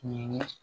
Ɲinɛnin